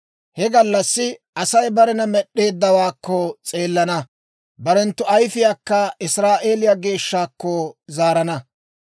He gallassi Asay barena Med'd'eeddawaakko s'eelana; barenttu ayfiyaakka Israa'eeliyaa Geeshshaakko zaarana.